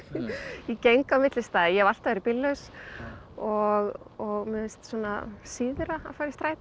ég geng á milli staða ég hef alltaf verið bíllaus og mér finnst síðra að fara í strætó